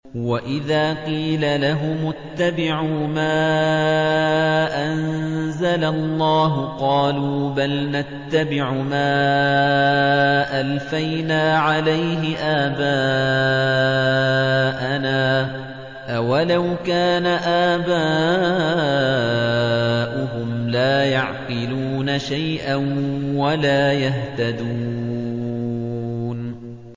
وَإِذَا قِيلَ لَهُمُ اتَّبِعُوا مَا أَنزَلَ اللَّهُ قَالُوا بَلْ نَتَّبِعُ مَا أَلْفَيْنَا عَلَيْهِ آبَاءَنَا ۗ أَوَلَوْ كَانَ آبَاؤُهُمْ لَا يَعْقِلُونَ شَيْئًا وَلَا يَهْتَدُونَ